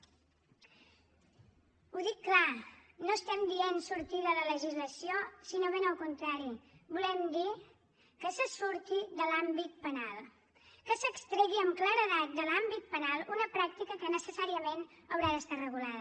ho dic clar no estem dient sortir de la legislació sinó ben al contrari volem dir que se surti de l’àmbit penal que s’extregui amb claredat de l’àmbit penal una pràctica que necessàriament haurà d’estar regulada